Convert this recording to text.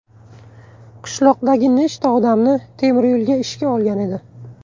Qishloqdagi nechta odamni temiryo‘lga ishga olgan edi.